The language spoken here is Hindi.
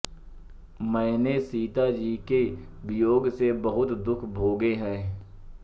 मैंने सीताजी के वियोग में बहुत दुख भोगे हैं